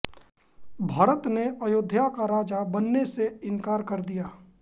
भरत ने अयोध्या का राजा बनने से इंकार कर दिया